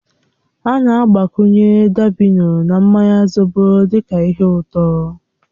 A na-agbakwunye dabino na mmanya zobo dị ka ihe ụtọ.